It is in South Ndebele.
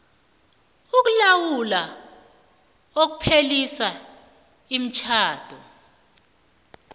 ukulawula ukupheliswa kwemitjhado